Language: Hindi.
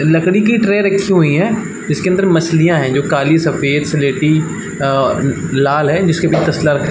लकड़ी की ट्रे रखी हुई है जिसके अंदर मछलियाँ है जो काली सफ़ेद स्लेटी अ लाल है जिसके --